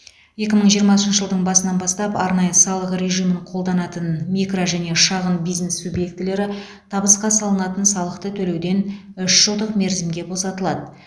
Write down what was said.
екі мың жиырмасыншы жылдың басынан бастап арнайы салық режимін қолданатын микро және шағын бизнес субъектілері табысқа салынатын салықты төлеуден үш жылдық мерзімге босатылады